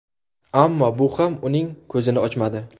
Ammo bu ham uning ko‘zini ochmadi.